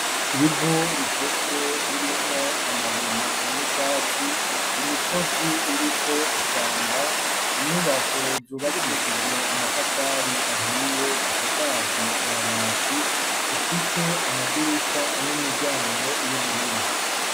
Ivu ritose ririmwo amabuye n'ubwatsi imisozi iriko ishamba inyubako zubakishijwe amatafari ahiye zisakajwe amabati zifise amadirisha n'imiryango y'ubururu.